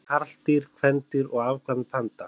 Hvað heita karldýr, kvendýr og afkvæmi panda?